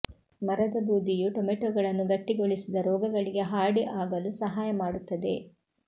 ಮರದ ಬೂದಿಯು ಟೊಮೆಟೊಗಳನ್ನು ಗಟ್ಟಿಗೊಳಿಸಿದ ರೋಗಗಳಿಗೆ ಹಾರ್ಡಿ ಆಗಲು ಸಹಾಯ ಮಾಡುತ್ತದೆ